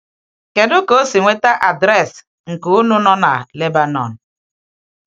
Kedu um ka o si nweta adreesị um nke Ụnụ nọ na Lebanon?